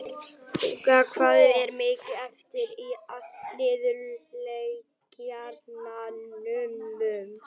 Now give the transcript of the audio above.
Hugrún, hvað er mikið eftir af niðurteljaranum?